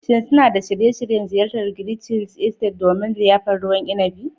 Shin suna da shirye-shiryen ziyartar "Grgich Hills Estate" domin liyafar ruwan inibi?